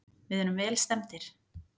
Við erum vel stemmdir.